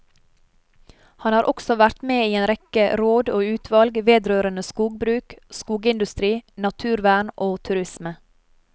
Han har også vært med i en rekke råd og utvalg vedrørende skogbruk, skogindustri, naturvern og turisme.